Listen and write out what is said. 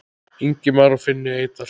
Ingimar og Finni Eydal.